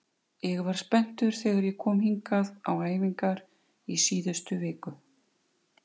Forsendurnar styðja ekki niðurstöðurnar þannig að hægt sé að álykta nokkuð út frá þeim.